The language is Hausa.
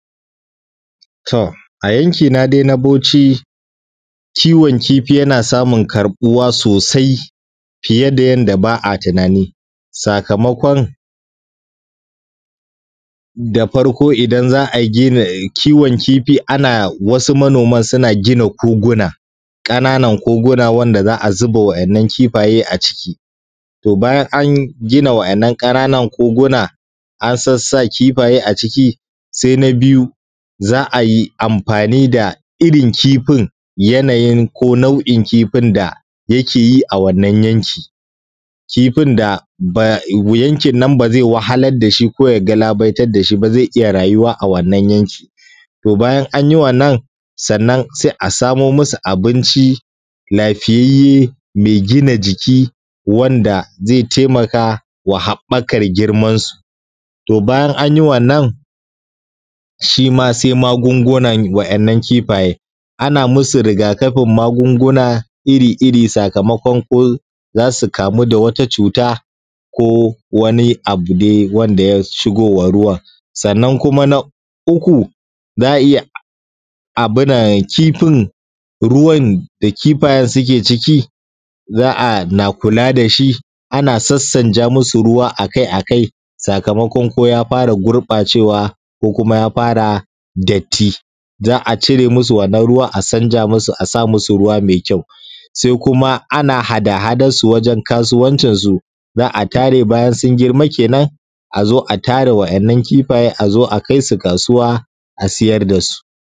To a yankina dai na bauchi kiwon kifi yana samun ƙarɓuwa sosai fiye da yadda ba’a tunani sakamakon. Da farkon idan za ai kiwon kifi ana wasu manoman suna gina koguna ƙananan koguna wanda za’a zuba wa ’yan’ nan kifaye a ciki. To bayan an gina wa ‘yan’ nan ƙananan koguna an sassa kifaye a ciki. Na biyu za’ayi amfani da irrin kifinyanayin ko nau’in kifin da yakeyi a wannan yanki kifin da bazai wahalar dashi koya galabaitar dashi ba zai iyya rayuwa a wannan yanki. To bayan anyi wannan sannan sai asamo musu abinci lafiyayye me gina jiki wanda zai taimakawa haɓɓakan girman su. to bayan anyi wannan shima sai magungunan wa ‘yan’ nan kifaye ana musu rigakafin magunguna iri iri sakamakon ko zasu kamu da wani cuta ko wani abu dai wanda yai shigowan ruwan. Sannan na uku za’a iyya abunan kifin ruwan da kifayen suke ciki za’a na kula dashi ana sassanja musu akai akai sakamakon koya fara gurɓacewa koya fara datti, za’a cire musu wannan ruwan a canja musu asa musu ruwa mai kyau. sai kuma ana hada hadansu wajen kasuwancin su za’a tare bayansun girma kenan azo a tare waɗannan kifaye azo a kaisu kasuwa a siyar dasu.